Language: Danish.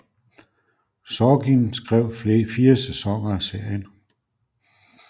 Sorkin skrev fire sæsoner af serien